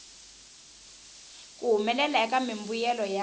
ku humelela eka mimbuyelo ya